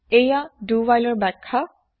এইয়া দো হোৱাইলৰ ব্যাখ্যা